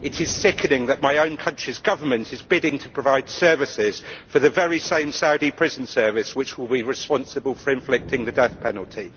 It is sickening that my own country's Government is bidding to provide services for the very same Saudi prison service which will be responsible for inflicting the death penalty.